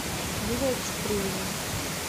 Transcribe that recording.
юлия чупрынина